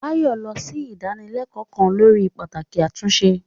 Bayo lọ sí ìdánilẹ́kọ̀ọ́ kan lórí pàtàkì àtúnṣe.